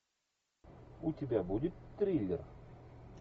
у тебя будет триллер